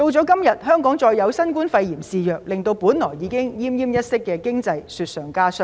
今天再有新冠肺炎肆虐，令本來已經奄奄一息的經濟更是雪上加霜。